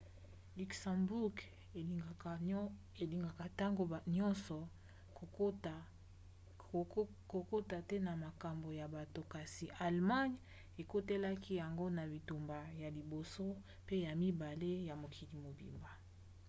luxembourg elingaka ntango nyonso kokota te na makambo ya bato kasi allemagne ekotelaki yango na bitumba ya liboso mpe ya mibale ya mokili mobimba